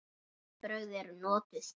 Öll brögð eru notuð.